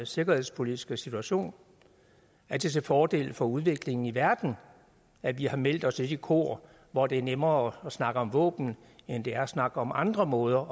sikkerhedspolitiske situation er det til fordel for udviklingen i verden at vi har meldt os i det kor hvor det er nemmere at snakke om våben end det er at snakke om andre måder